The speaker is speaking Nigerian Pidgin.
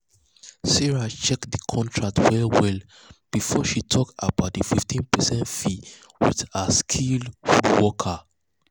sarah check the contract well well um before she talk about the 15 percent fee with her skilled woodworker.